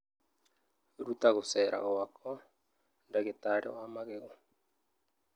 Ruta gũceera gwakwa ndagĩtarĩ wa magego